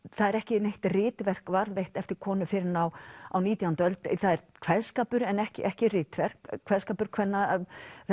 það er ekki neitt ritverk varðveitt eftir konu fyrr en á á nítjándu öld það er kveðskapur en ekki ekki ritverk kveðskapur kvenna